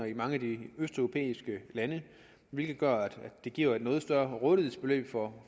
i mange af de østeuropæiske lande hvilket gør at det giver et noget større rådighedsbeløb for